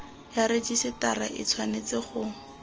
ya rejisetara e tshwanetse go